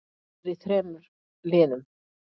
Hún er í þremur liðum.